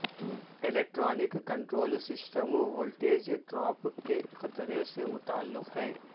electronic control system voltage drop کے خطرے سے متعلق ہے